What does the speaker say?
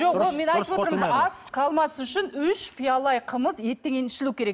жоқ ол мен айтып отырмын ғой ас қалмас үшін үш пиала қымыз еттен кейін ішілу керек